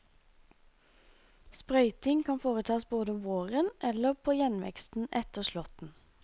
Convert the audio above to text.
Sprøyting kan foretas både om våren eller på gjenveksten etter slåtten.